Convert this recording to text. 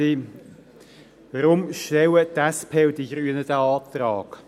Warum stellen die SP und die Grünen diesen Antrag?